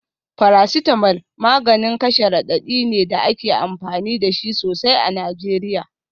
Paracetamol maganin kashe radadi ne da ake amfani da shi sosai a Najeriya.